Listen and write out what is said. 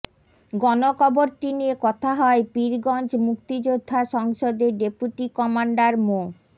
গণকবরটি নিয়ে কথা হয় পীরগঞ্জ মুক্তিযোদ্ধা সংসদের ডেপুটি কমান্ডার মো